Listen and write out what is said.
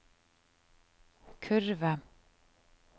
kurve